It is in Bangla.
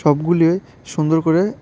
সবগুলি সুন্দর করে--